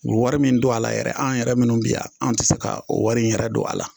U wari min don a la yɛrɛ an yɛrɛ minnu bi yan an tɛ se ka o wari in yɛrɛ don a la.